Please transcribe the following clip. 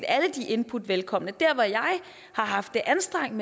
alle de input velkommen jeg har haft et anstrengt